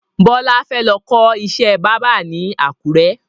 Bọlá fẹ́ lọ kọ́ ìṣẹ́ báábà ni àkùrẹ́